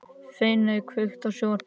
Finney, kveiktu á sjónvarpinu.